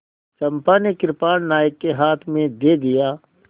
चंपा ने कृपाण नायक के हाथ में दे दिया